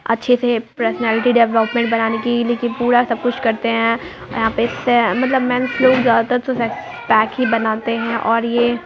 अच्छे से personality development बनाने की लेकिन पूरा सब कुछ करते हैं। यहाँ पर मतलब मैंने ज्यादातर बनाते हैं और ये--